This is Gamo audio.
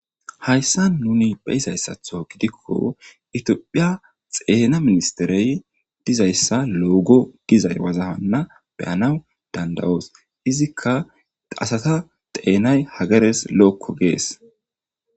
Hayssan nuuni be7izayssathoo gidikko ethoophphiyaa xeena ministheree dizayssa loogo gizay wozaanna be7anawu dandda7oos;izikka asatha xeenay hageres lo7okko gees.